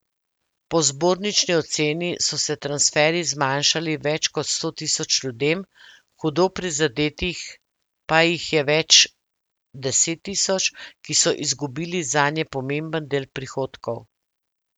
Po zbornični oceni so se transferji zmanjšali več kot sto tisoč ljudem, hudo prizadetih pa jih je več deset tisoč, ki so izgubili zanje pomemben del prihodkov.